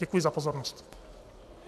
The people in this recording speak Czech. Děkuji za pozornost.